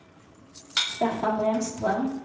Staffan Brännström